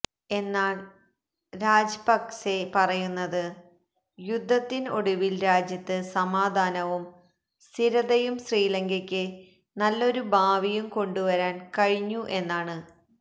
എന്നാല് രാജപക്സെ പറയുന്നത് യുദ്ധത്തിന് ഒടുവില് രാജ്യത്ത് സമാധാനവും സ്ഥിരതയും ശ്രീലങ്കയ്ക്ക് നല്ലൊരു ഭാവിയും കൊണ്ടു വരാന് കഴിഞ്ഞു എന്നാണ്